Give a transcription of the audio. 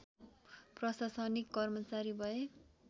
प्रशासनिक कर्मचारी भए